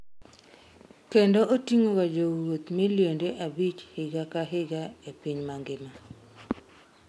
kendo oting'o ga jowuoth milionde abich higa ka higa e piny mangima